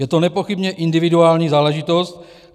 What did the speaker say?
Je to nepochybně individuální záležitost.